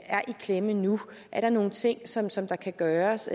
er i klemme nu er der nogle ting som som der kan gøres